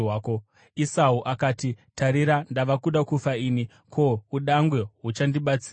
Esau akati, “Tarira, ndava kuda kufa ini. Ko, udangwe huchandibatsirei?”